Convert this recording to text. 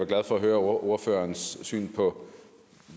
glad for at høre ordførerens syn på